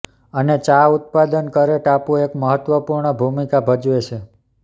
અને ચા ઉત્પાદન કરે ટાપુ એક મહત્વપૂર્ણ ભૂમિકા ભજવે છે